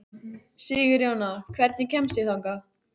Sigurjóna, hvernig kemst ég þangað?